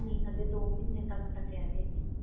ਨਹੀਂ ਕੁਛ ਦੋ ਮਹੀਨੇ ਤਕ